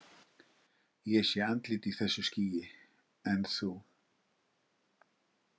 Ég sé andlit í þessu skýi, en þú?